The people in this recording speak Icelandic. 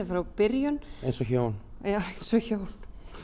frá byrjun eins og hjón já eins og hjón